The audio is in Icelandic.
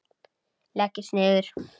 Leggist niður.